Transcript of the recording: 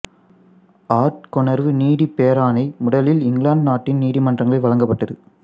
ஆட்கொணர்வு நீதிப் பேராணை முதலில் இங்கிலாந்து நாட்டின் நீதிமன்றங்களில் வழங்கப்பட்டது